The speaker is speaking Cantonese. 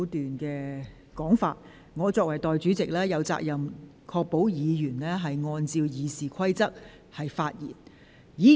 我作為代理全委會主席，有責任確保委員按照《議事規則》發言。